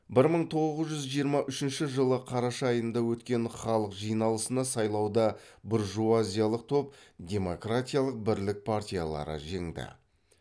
бір мың тоғыз жүз жиырма үшінші жылы қараша айында өткен халық жиналысына сайлауда біржуазиялық топ демократикалық бірлік партиялары жеңді